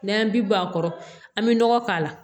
N'an bi bɔ a kɔrɔ an bi nɔgɔ k'a la